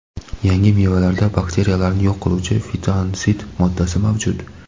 yangi mevalarda bakteriyalarni yo‘q qiluvchi fitonsid moddasi mavjud.